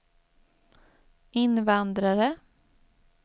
invandrare